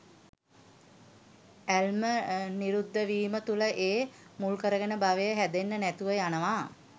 ඇල්ම නිරුද්ධ වීම තුළ ඒ මුල්කරගෙන භවය හැදෙන්නෙ නැතිව යනවා